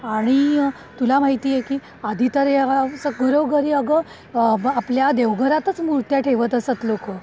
आणि तुला माहिती आहे की आधी तर गुरव घरी अगं आपल्या देवघरात मूर्त्या ठेवत असत लोकं.